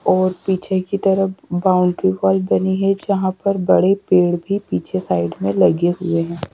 और पीछे की तरफ बॉउंड्री वॉल बनी है जहां पर बड़े पेड़ भी पीछे साइड मे लगे हुएं हैं।